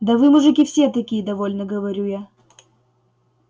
да вы мужики все такие довольно говорю я